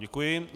Děkuji.